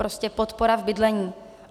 Prostě podpora v bydlení.